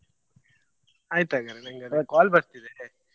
ಆಯ್ತ್ ಹಾಗಾದ್ರೆ ನಂಗೆ ಒಂದು call ಬರ್ತಿದೆ.